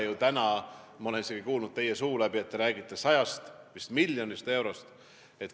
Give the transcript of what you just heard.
Ma olen isegi kuulnud, kui te räägite 100 miljonist eurost.